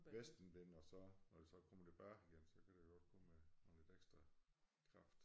Vestenvind og så når det så kommer tilbage igen så kan det godt komme med med lidt ekstra kraft